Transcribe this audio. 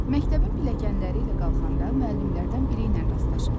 Məktəbin pilləkənləri ilə qalxanda müəllimlərdən biri ilə rastlaşıram.